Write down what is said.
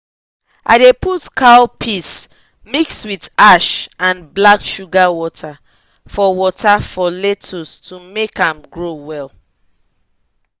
i dey put cow piss mix with ash and black sugar water for water for lettuce to make am grow well